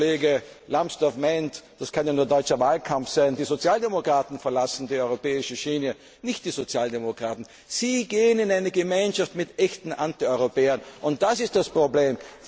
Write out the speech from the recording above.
Wenn der Kollege Lambsdorff meint, das kann ja nur deutscher Wahlkampf sein und die Sozialdemokraten verlassen die europäische Schiene, dann muss ich ihm antworten Nicht die Sozialdemokraten, Sie gehen in eine Gemeinschaft mit echten Antieuropäern, und das ist das Problem!